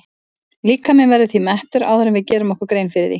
Líkaminn verður því mettur áður en við gerum okkur grein fyrir því.